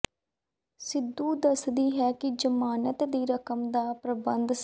ਸਿੰਧੂ ਦੱਸਦੀ ਹੈ ਕਿ ਜ਼ਮਾਨਤ ਦੀ ਰਕਮ ਦਾ ਪ੍ਰਬੰਧ ਸ